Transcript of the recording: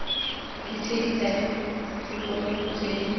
ditshedi tsa tikologo tse di